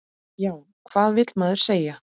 Já, hvað vill maður segja?